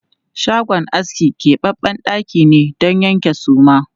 Shagon aski kebabben ɗaki ne don yankan suma.